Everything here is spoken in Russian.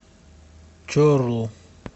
чорлу